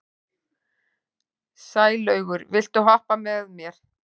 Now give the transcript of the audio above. Sælaugur, viltu hoppa með mér?